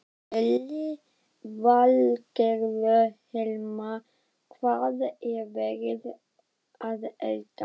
Lillý Valgerður: Hilmar, hvað er verið að elda?